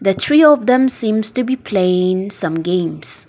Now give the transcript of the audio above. the three of them seems to be playing some games.